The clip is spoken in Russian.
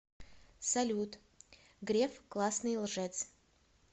салют греф классный лжец